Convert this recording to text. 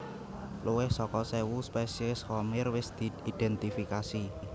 Luwih saka séwu spesies khamir wis diidhèntifikasi